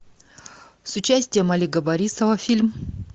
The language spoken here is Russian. с участием олега борисова фильм